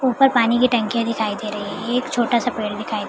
ऊपर पानी की टंकियां दिखाई दे रही है एक छोटा सा पेड़ दिखाई --